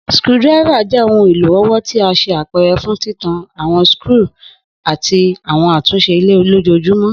screwdriver jẹ ohun elo ọwọ ti a ṣe apẹrẹ fun titan awọn skru ti awọn atunṣe ile lojoojumọ.